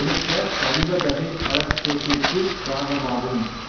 ஒடுக்க வடிவ தசைவளக்கேட்டிற்குக் காரணமாகும்